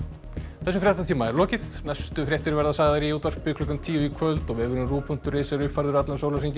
þessum fréttatíma er lokið næstu fréttir verða sagðar í útvarpi klukkan tíu í kvöld og vefurinn rúv punktur is er uppfærður allan sólarhringinn